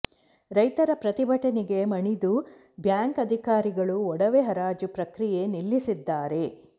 ರೈತರ ಪ್ರತಿಭಟನೆಗೆ ಮಣಿದು ಬ್ಯಾಂಕ್ ಅಧಿಕಾರಿಗಳು ಒಡವೆ ಹರಾಜು ಪ್ರಕ್ರಿಯೆ ನಿಲ್ಲಿಸಿದ್ದಾರೆ